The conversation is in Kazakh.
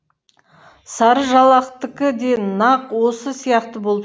сарыжалақтікі де нақ осы сияқты болып